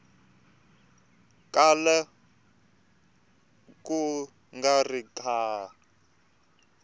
kala ku nga ri ka